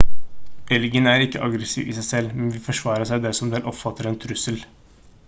elgen er ikke aggressiv i seg selv men vil forsvare seg dersom den oppfatter en trussel